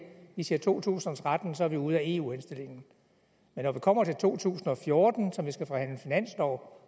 vi siger to tusind og tretten og så er vi ude af eu henstillingen men når vi kommer til to tusind og fjorten som vi skal forhandle finanslov